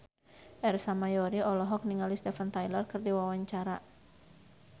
Ersa Mayori olohok ningali Steven Tyler keur diwawancara